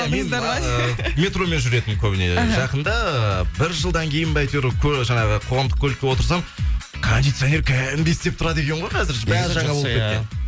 метромен жүретінмін көбіне жақында бір жылдан кейін ба әйтеуір жаңағы қоғамдық автокөлліке отырсам кондиционер кәдімгідей істеп тұрады екен ғой қазір бәрі жаңа болып кеткен